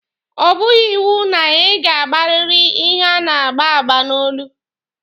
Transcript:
Ọ bụghị iwu na ị ga-agbariri ihe a na-agba agba n'olu.